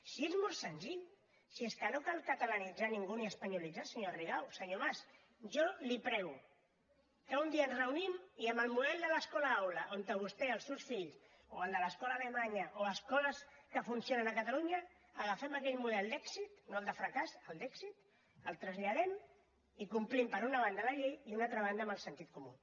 si és molt senzill si és que no cal catalanitzar ningú ni espanyolitzar senyora rigau senyor mas jo li prego que un dia ens reunim i amb el model de l’escola aula on vostè i els seus fills o el de l’escola alemanya o escoles que funcionen a catalunya agafem aquell model d’èxit no el de fracàs el d’èxit el traslladem i complim per una banda la llei i per una altra banda amb el sentit comú